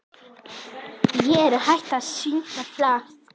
Er hægt að syngja falskt?